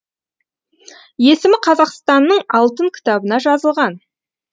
есімі қазақстанның алтын кітабына жазылған